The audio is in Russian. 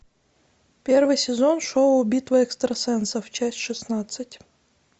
первый сезон шоу битва экстрасенсов часть шестнадцать